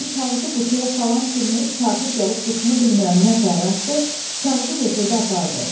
Elə kağızı qutuya salan kimi kafir gəlib qutunu bilmirəm nətər açdı, kağızı götürdü apardı.